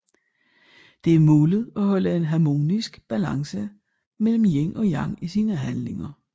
Det er målet at holde en harmonisk balance mellem yin og yang i sine handlinger